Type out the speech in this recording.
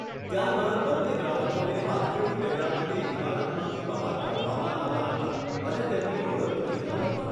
ત્યારબાદ બંને ગ્રાહકોને હાથકડી પહેરાવીને ઈમારતમાંથી બહાર કાઢવામાં આવ્યા હતા અને તેમની ઓળખ થઈ ન હતી.